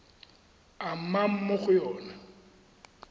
a nnang mo go yona